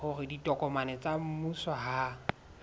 hore ditokomane tsa mmuso ha